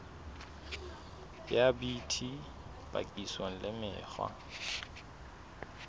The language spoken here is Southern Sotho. ya bt papisong le mekgwa